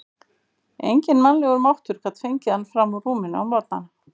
Enginn mannlegur máttur gat fengið hann fram úr rúminu á morgnana.